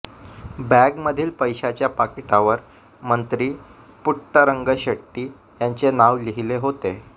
बॅगमधील पैशाच्या पाकिटावर मंत्री पुट्टरंगशेट्टी यांचे नाव लिहिले होते